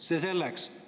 See selleks.